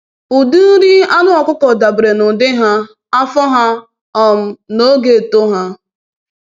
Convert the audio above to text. Ụdị nri anụ ọkụkọ dabere n'ụdị ha, afọ ha, um na ogo eto ha.